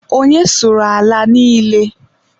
Onye sụrụ ala niile?